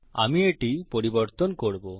আমি এটি পরিবর্তন করবো